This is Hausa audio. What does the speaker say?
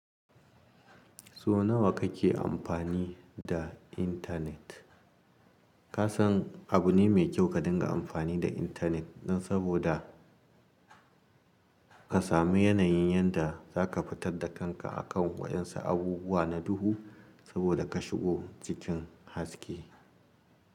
So nawa kake amfani da intanet? Kasan abune mai kyau ka dinga amfani da intanet dan saboda ka sami yanayin yanda zaka fitarda kanka a kan waɗansu abubuwa na duhu saboda ka shigo cikin haske.